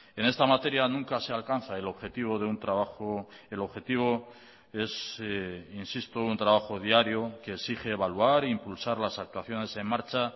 en esta materia nunca se alcanza el objetivo de un trabajo el objetivo es insisto un trabajo diario que exige evaluar e impulsar las actuaciones en marcha